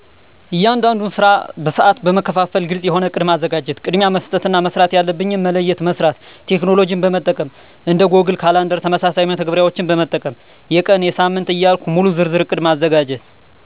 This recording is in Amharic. እያንዳንዱን ስራ በሰአት መከፋፈና ግልጽ የሆነ እቅድ ማዘጋጀት። ቅድሚያ መስጠት እና መስራት ያለብኝን መለየትና መስራት። ቴክኖሎጅን መጠቀም። እንደ ጎግል ካላንደር ተመሳሳይ መተግበሪያዎችን መጠቀም። የቀን፣ የሳምንት ዕያልኩ ሙሉ ዝርዝር እቅድ ማዘጋጀት።